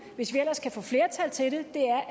hvis vi ellers kan få flertal til det